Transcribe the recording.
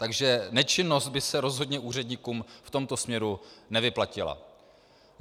Takže nečinnost by se rozhodně úředníkům v tomto směru nevyplatila.